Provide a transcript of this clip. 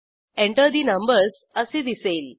Enter ठे numbers असे दिसेल